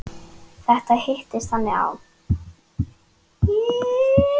Þetta hittist þannig á.